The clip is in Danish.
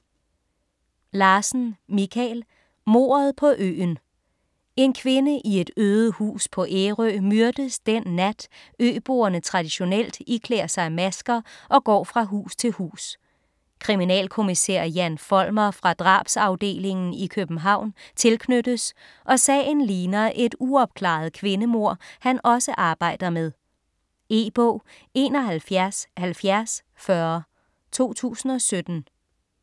Larsen, Michael: Mordet på øen En kvinde i et øde hus på Ærø myrdes den nat, øboerne traditionelt iklæder sig masker og går fra hus til hus. Kriminalkommissær Jan Folmer fra Drabsafdelingen i København tilknyttes, og sagen ligner et uopklaret kvindemord, han også arbejder med. E-bog 717040 2017.